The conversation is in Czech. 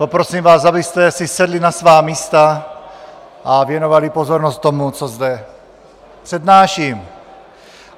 Poprosím vás, abyste si sedli na svá místa a věnovali pozornost tomu, co zde přednáším.